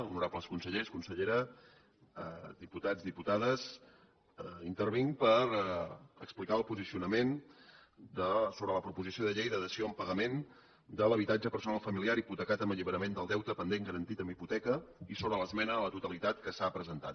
honorables consellers consellera diputats diputades intervinc per explicar el posicionament sobre la proposició de llei de dació en pagament de l’habitatge personal familiar hipotecat amb alliberament del deute pendent garantit amb hipoteca i sobre l’esmena a la totalitat que s’ha presentat